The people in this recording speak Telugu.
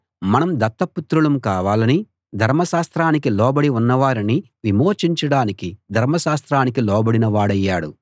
మనం దత్తపుత్రులం కావాలని ధర్మశాస్త్రానికి లోబడి ఉన్నవారిని విమోచించడానికి ధర్మశాస్త్రానికి లోబడిన వాడయ్యాడు